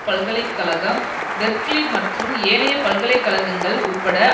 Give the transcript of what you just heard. பல்கலை கழகம் பெர்க்லி மற்றும் ஏனைய பல்கலை கழகங்கள் உட்பட